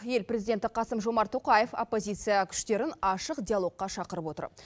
ел президенті қасым жомарт тоқаев оппозиция күштерін ашық диалогқа шақырып отыр